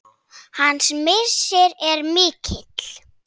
Hans missir er mikill.